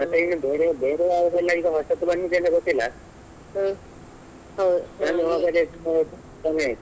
ಮತ್ತೆ ಈಗ ಬೇರೆ ಬೇರೆ ಯಾವುದೆಲ್ಲಾ ಈಗ ಹೊಸತು ಬಂದಿದೆ ಇಲ್ಲಾ ಗೊತ್ತಿಲ್ಲಾ ಸಮಯ ಆಯ್ತು.